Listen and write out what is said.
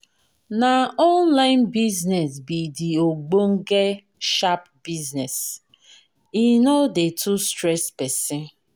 Na online business be de ogbenge sharp business, e no dey too stress pesin.